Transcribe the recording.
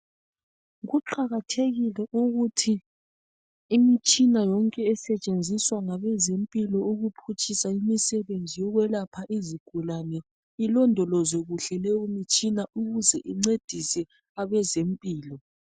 Kuqakathekile ukuthi imitshina yonke esentshenziswa ngabezempilo ukuqhutshisa imsebenzi yokwelapha izigulane ilodolozwe kuhle leyo mtshina ukuze incedise abezempilo